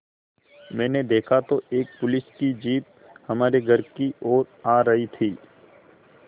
मैंने देखा तो एक पुलिस की जीप हमारे घर की ओर आ रही थी